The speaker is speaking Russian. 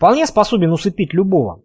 вполне способен усыпить любого